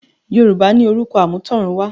Yorùbá ní “orúkọ àmútọ̀runwá”